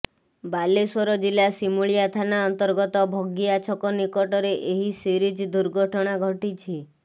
ବାଲେଶ୍ୱର ଜିଲ୍ଲା ସିମୁଳିଆ ଥାନା ଅନ୍ତର୍ଗତ ଭଗିଆ ଛକ ନିକଟରେ ଏହି ସିରିଜ୍ ଦୁର୍ଘଟଣା ଘଟିଛି